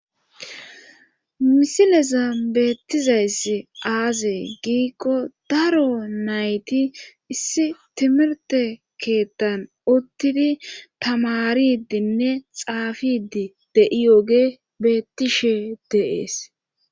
Misileza beettizayss aazee giikko daro nayti issi timirte keettan uttidi tamaridinne xaafidi de7iyoge beettishe deees